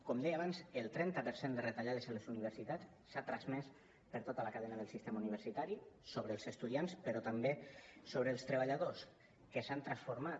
com deia abans el trenta per cent de retallades a les universitats s’ha transmès per tota la cadena del sistema universitari sobre els estudiants però també sobre els treballadors que s’han transformat